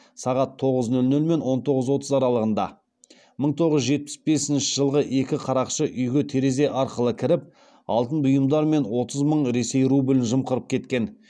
сағат тоғыз нөл нөл мен он тоғыз отыз аралығында мың тоғыз жүз жетпіс бесінші жылғы екі қарақшы үйге терезе арқылы кіріп алтын бұйымдар мен отыз мың ресей рублін жымқырып кеткен